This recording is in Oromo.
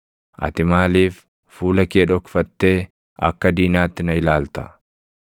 Ati maaliif fuula kee dhokfattee akka diinaatti na ilaalta?